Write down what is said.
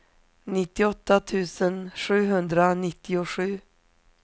nittioåtta tusen sjuhundranittiosju